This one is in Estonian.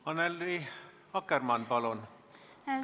Annely Akkermann, palun!